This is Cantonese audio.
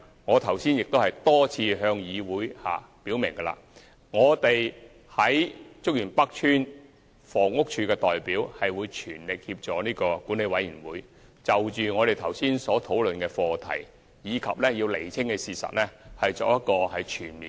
我剛才亦多次向議會表明，我們在竹園北邨的房委會代表會全力協助管委會，就我們剛才所討論的課題及要釐清的事實，作全面的調查檢討，以釋公眾疑慮。